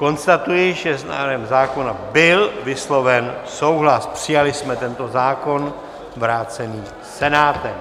Konstatuji, že s návrhem zákona byl vysloven souhlas, přijali jsme tento zákon vrácený Senátem.